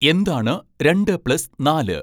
എന്താണ് രണ്ട് പ്ലസ് നാല്